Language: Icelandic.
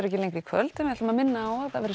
ekki lengri í kvöld við minnum á að